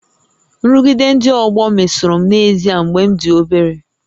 Nrụgide ndị ọgbọ mesoro m n'ezie mgbe m dị obere